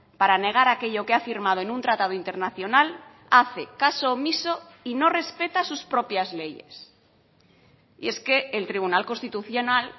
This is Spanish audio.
para negar aquello que ha firmado en un tratado internacional hace caso omiso y no respeta sus propias leyes y es que el tribunal constitucional